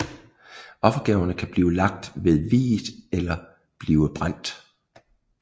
Offergaverne kan blive lagt ved viet eller blive brændt